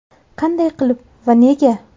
Qanday qilib va nega?